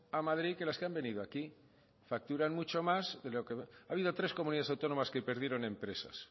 a madrid que las que han venido aquí facturan mucho más que lo que ha habido tres comunidades autónomas que perdieron empresas